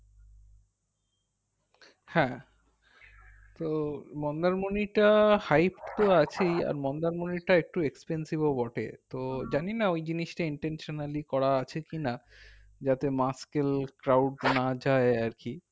হ্যাঁ তো মন্দারমণিটা hight তো আছেই আর মন্দারমণিটা একটু expensive ও বটে তো জানি না ওইজিনিসটা intentionally করা আছে কি না যাতে mashkel crowd না যাই আর কি